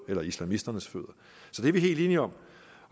eller islamisternes fødder det er vi helt enige om